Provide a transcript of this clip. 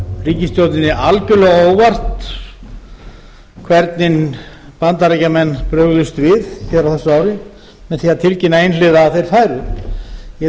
ríkisstjórninni algerlega á óvart hvernig bandaríkjamenn brugðust við fyrr á árinu með því að tilkynna einhliða að þeir færu ég